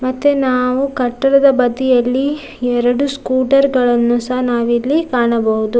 ಮತ್ತೆ ನಾವು ಕಟ್ಟಡದ ಬದಿಯಲ್ಲಿಎರಡು ಸ್ಕೂಟರ್‌ಗಳನ್ನು ಸಹ ನಾವಿಲ್ಲಿ ಕಾಣಬಹುದು.